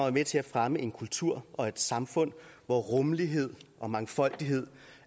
er med til at fremme en kultur og et samfund hvor rummelighed og mangfoldighed